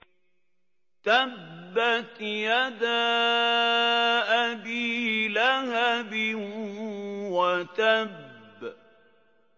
تَبَّتْ يَدَا أَبِي لَهَبٍ وَتَبَّ